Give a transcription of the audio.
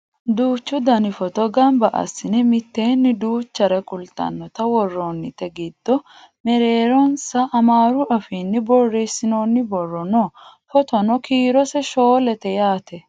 duuchu dani footo gamba assine mitteenni duuchare kultannota worroonnite giddo mereeronsa amaaru afiinni borreessinoonni borro no footono kiirose shoolete yaate